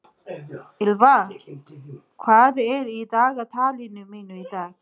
Ýlfa, hvað er í dagatalinu mínu í dag?